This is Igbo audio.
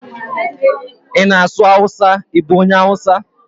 I na asụ awụsa, I bụ onye awụsa?